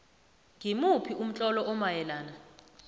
ngimuphi umtlolo omayelana